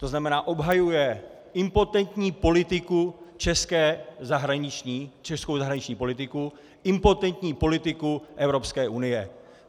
To znamená, obhajuje impotentní politiku, českou zahraniční politiku, impotentní politiku Evropské unie.